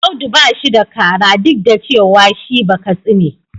Audu ba shi da kara duk da cewa shi Bakatsi ne.